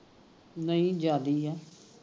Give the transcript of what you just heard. ਨਹੀਂ ਜਿਆਦੇ ਈ ਆ